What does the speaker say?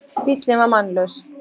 Bíllinn var mannlaus